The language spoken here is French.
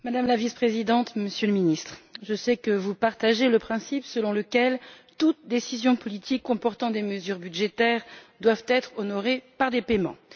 Monsieur le Président, Madame la Vice Présidente, Monsieur le Ministre, je sais que vous partagez le principe selon lequel toutes les décisions politiques comportant des mesures budgétaires doivent être honorées par des paiements.